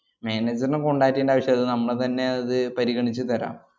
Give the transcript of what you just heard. manager നെ contact എയ്യണ്ട ആവശ്യവില്ല. മ്മള് തന്നെ അത് പരിഗണിച്ചുതരാം.